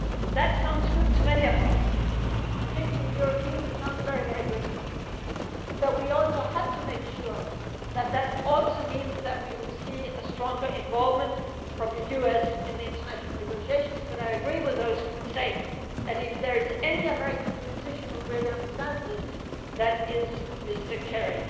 the first. That sounds good to many of us, to Europeans it sounds very good, but we also have to make sure that that also means that we will see a stronger involvement from the US in the international negotiations. But I agree with those who say that if there is any American politician who really understands this, that is